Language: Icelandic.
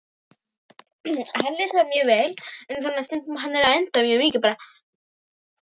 Það getur ekki orðið neitt á milli okkar aftur, Anna Dóra.